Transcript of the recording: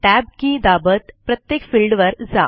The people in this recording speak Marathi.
tab के दाबत प्रत्येक फिल्डवर जा